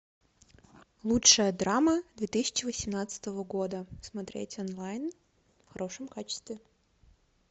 лучшая драма две тысячи восемнадцатого года смотреть онлайн в хорошем качестве